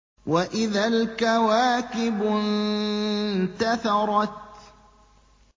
وَإِذَا الْكَوَاكِبُ انتَثَرَتْ